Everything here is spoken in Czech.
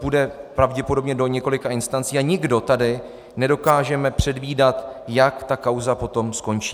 Půjde pravděpodobně do několika instancí a nikdo tady nedokážeme předvídat, jak ta kauza potom skončí.